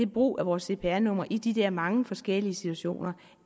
brug af vores cpr nummer i de her mange forskellige situationer